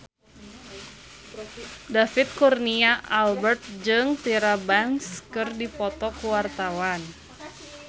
David Kurnia Albert jeung Tyra Banks keur dipoto ku wartawan